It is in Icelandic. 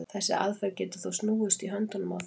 þessi aðferð getur þó snúist í höndunum á þeim